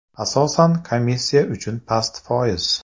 Asosan, komissiya uchun past foiz.